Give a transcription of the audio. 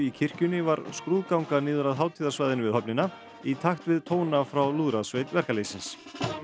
kirkjunni var skrúðganga niður að hátíðarsvæðinu við höfnina í takt við tóna frá lúðrasveit verkalýðsins